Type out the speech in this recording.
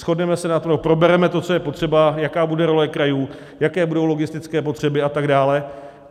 Shodneme se na tom, probereme to, co je potřeba, jaká bude role krajů, jaké budou logistické potřeby a tak dále.